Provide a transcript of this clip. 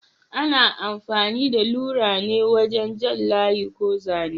Ana amfani da lura ne wajen jan layi ko zane.